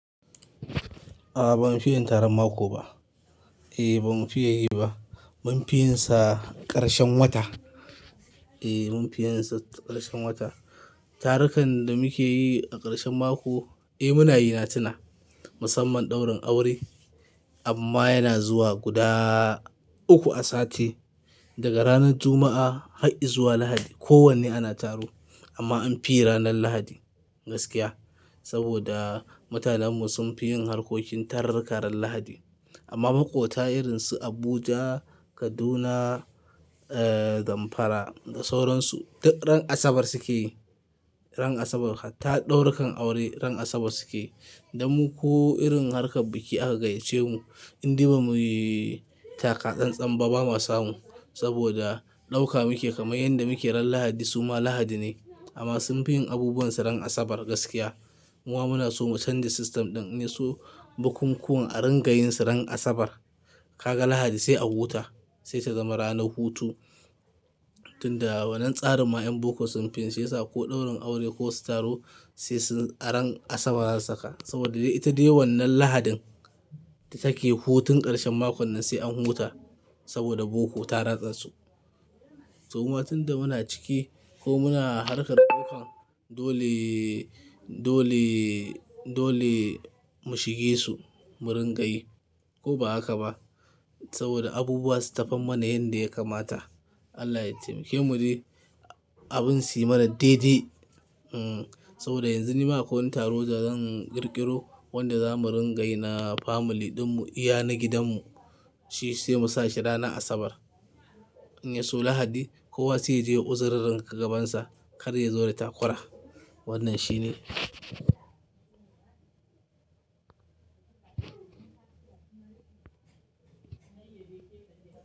A'a ban fiye tarar mako ba. Eh ban fiye yi ba. Mun fiye sa karshen wata. Eh mun fiye sa karshen wata. Tarukan da muke yi a karshen mako, eh muna yi na tuna. Musamman ɗaurin aure amma yana zuwa guda uku a sati. Daga ranar Juma'a har izuwa Lahadi. Ko wanne ana taro amma an fiye ranar Lahadi gaskiya. Saboda mutanen mu sun fi yin harkokin tarrakaran Lahadi. Amma maƙota irin su Abuja, Kaduna, eh Zamfara da sauran su ran Asabar suke. Ran Asabar ta ɗaurukan aure ran Asabar suke. Da mu kuwa irin harkar biki aka gayyace mu in diba muyi taka-tsan-tsan ba, ba ma samu. Saboda ɗauka muke kamar yanda muke ran Lahadi suma Lahadi ne. Amma sun fi yin abubuwan su ran Asabar gaskiya. Mu kuma muna so mu canji system ɗin ne su bukunkunan a ringa yin su ran Asabar. Kaga Lahadi sai a huta sai ta zama ranar hutu. Tunda wannan tsarin ma yan boko sun fiye sa ko ɗaurin aure ko su taro sai sun a ran Asabar za su saka. Saboda ita dai wannan Lahadin da take hutun karshen mako nan sai an huta saboda boko ta ratsa su. To ma tunda muna ciki ko muna harkar ɗaukan dole, dole, dole mu shige su, mu ringa yi ko ba haka ba. Saboda abubuwa su tafi mana yanda ya kamata. Allah ya taimake mu dai abin su yi mana daidai. Hmm saboda yanzu ni ma akwai wani taro da zan ƙirƙiro wanda za mu ringa yi na family ɗinmu, iyali na gidanmu. Shi sai mu sa shi ranar Asabar in yaso Lahadi kowa sai ya je ya uzuri ranka gabansa kar ya zo ya yi takura. Wannan shine.